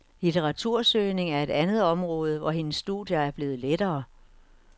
Litteratursøgning er et andet område, hvor hendes studier er blevet lettere.